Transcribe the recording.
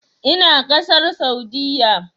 Ina ƙasar Saudiyya.